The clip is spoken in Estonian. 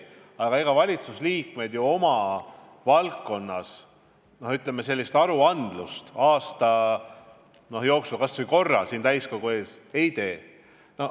Aga ega kõik valitsusliikmed ju oma valdkonna kohta sellist aruannet aasta jooksul kas või korra siin täiskogu ees ei tee.